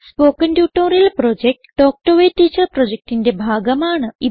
spoken tutorial project talk to a teacher പ്രൊജക്റ്റിന്റെ ഭാഗമാണ്